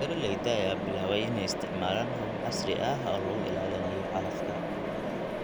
Beeralayda ayaa bilaabay inay isticmaalaan habab casri ah oo lagu ilaalinayo calafka.